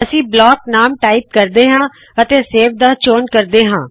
ਅਸੀ ਬਲੌਕ ਨਾਮ ਟਾਇਪ ਕਰਦੇ ਹਾ ਅਤੇ ਸੇਵ ਦਾ ਚੋਣ ਕਰਦੇ ਹਾ